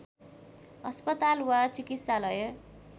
अस्पताल वा चिकित्सालय